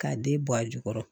K'a den bɔ a jukɔrɔ